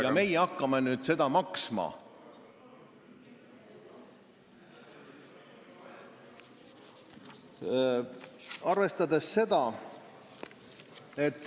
... ja meie hakkame nüüd seda maksma!